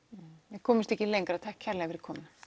við komumst ekki lengra takk kærlega fyrir komuna